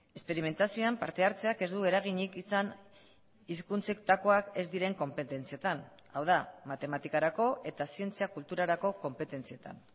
esperimentazioan parte hartzeak ez du eraginik izan hizkuntzetakoak ez diren konpetentzietan hau da matematikarako eta zientzia kulturarako konpetentzietan